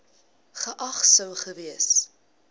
geag sou gewees